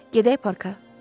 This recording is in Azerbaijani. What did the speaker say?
Gedək parka.